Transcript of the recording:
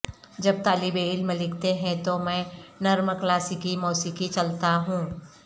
جب طالب علم لکھتے ہیں تو میں نرم کلاسیکی موسیقی چلتا ہوں